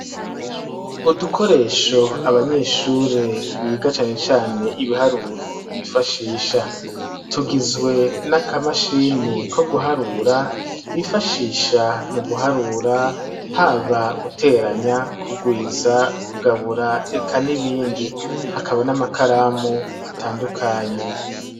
Udukoresho abanyeshuri biga cane cane ibiharuro bifashisha tugizwe n'akamashini ko guharura bifashisha mu guharura haba guteranya kugwiza, kugabura, eka n'ibindi, hakaba n'amakaramu atandukanye.